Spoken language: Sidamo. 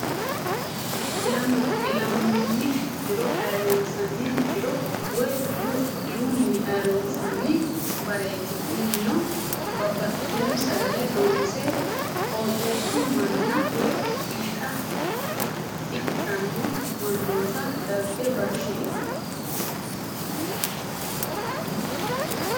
Ilamoni diro ayirinisanni diro woye diru diruni ayirinsanni barat kunino Babtitino sagala loonse qottesu mana woyi fitta ikitano manoti dago barati.